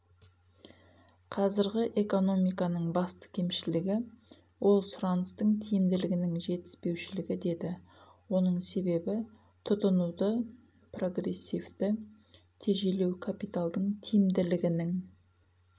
қазіргі экономиканың басты кемшілігі ол сұраныстың тиімділігінің жетіспеушілігі деді оның себебі тұтынуды прогрессивті тежелеу капиталдың тиімділігінің